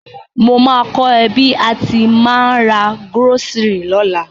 Mo ma ko ẹ bi a ti ma n ra groceries lọ́la